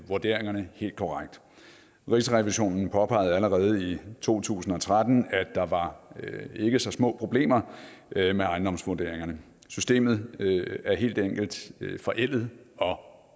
vurderingerne helt korrekt rigsrevisionen påpegede allerede i to tusind og tretten at der var ikke så små problemer med ejendomsvurderingerne systemet er helt enkelt forældet og